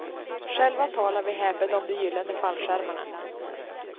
Själva talar vi häpet om de gyllene fallskärmarna.